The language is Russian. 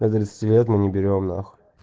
до тридцати лет мы не берём нахуй